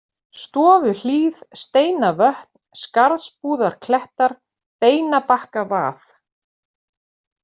Stofuhlíð, Steinavötn, Skarðsbúðarklettar, Beinabakkavað